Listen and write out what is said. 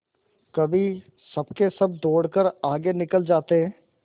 कभी सबके सब दौड़कर आगे निकल जाते